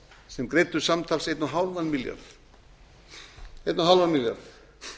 sem greiddu samtals einn og hálfan milljarð einn og hálfan milljarð